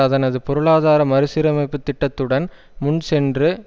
அதனது பொருளாதார மறுசீரமைப்பு திட்டத்துடன் முன்சென்று